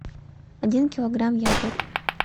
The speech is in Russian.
один килограмм яблок